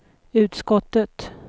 utskottet